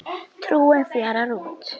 Trúin fjarar út